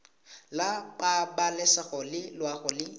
la pabalesego le loago e